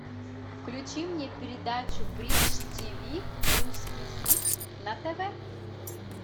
включи мне передачу бридж тв русский хит на тв